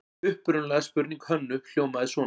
Upprunaleg spurning Hönnu hljómaði svona: